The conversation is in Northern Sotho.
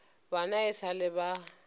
bana e sa le ba